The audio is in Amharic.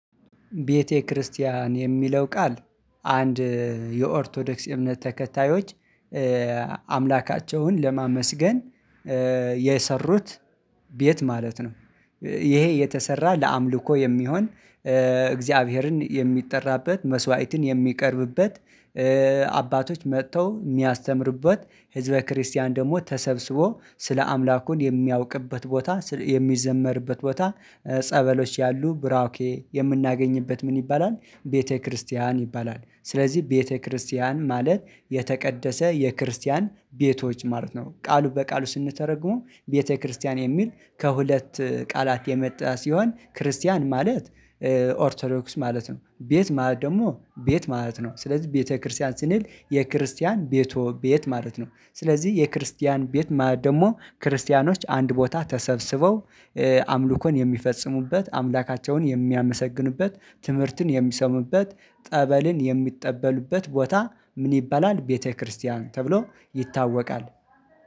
ቤተክርስቲያን የሚለው ቃል አንድ የኦርቶዶክስ እምነት ተከታዮች አምላካቸውን ለማመስገን የሰሩት ቤት ማለት ነው። ይሄ የተሰራ ለአምልኮ የሚሆን እግዚአብሔርን የሚጠራበት መስዋዕትን የሚቀርብበት። አባቶች መጥተው የሚያስተምሩበት ህዝበ ክርስቲያን ደግሞ ተሰብስቦ ስለ አምላኩን የሚያውቅበት ቦታ የሚዘመርበት ቦታ ጸበሎች ያሉ ብራኬ የምናገኝበት ምን ይባላል ቤተክርስቲያን ይባላል? ስለዚህ ቤተክርስቲያን ማለት የተቀደሰ የክርስቲያን ቤቶች ማለት ነው። ቃሉ በቃሉ ስንተረጉመው ቤተክርስቲያን የሚል ከሁለት ቃላት የመጣ ሲሆን ክርስቲያን ማለት። ኦርቶዶክስ ማለት ነው። ቤት ማለት ደግሞ ቤት ማለት ነው። ስለዚህ ቤተክርስቲያን ስንል የክርስቲያን ቤቶ ቤት ማለት ነው። ስለዚህ የክርስቲያን ቤት ማለት ደግሞ ክርስቲያኖች አንድ ቦታ ተሰብስበው። አምልኮን የሚፈጽሙበት አምላካቸውን የሚያመሰግኑበት ትምህርትን የሚሰሙበት ጠበልን የሚጠበሉበት ቦታ ምን ይበላል ቤተክርስቲያን ተብሎ ይታወቃል